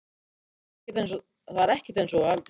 Það er ekkert eins og þú heldur.